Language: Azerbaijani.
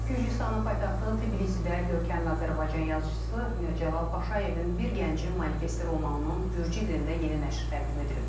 Gürcüstanın paytaxtı Tiflisdə görkəmli Azərbaycan yazıçısı Mirzəcəlal Paşayevin bir gəncin manifesti romanının gürcü dilində yeni nəşr təqdim edilib.